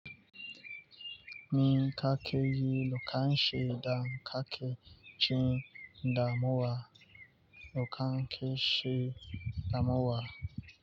Mi kakeyi, lokacin da kaki jin damuwa. Lukanke shi damuwa.